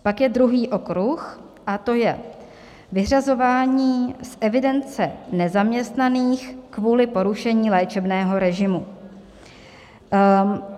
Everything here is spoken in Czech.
Pak je druhý okruh a to je vyřazování z evidence nezaměstnaných kvůli porušení léčebného režimu.